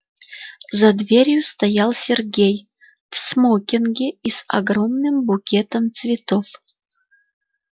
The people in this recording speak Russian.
за дверью стоял сергей в смокинге и с огромным букетом цветов